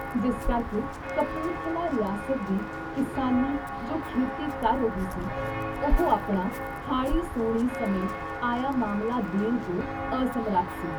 ਜਿਸ ਕਰਕੇ ਕਪੂਰਥਲਾ ਰਿਆਸਤ ਦੀ ਕਿਸਾਨੀ ਜੋ ਖੇਤੀ ਕਰ ਰਹੀ ਸੀ- ਉਹ ਆਪਣਾ ਹਾੜ੍ਹੀ ਸੌਣੀ ਸਮੇਂ ਆਇਆ ਮਾਮਲਾ ਦੇਣ ਤੋਂ ਅਸਮਰੱਥ ਸੀ।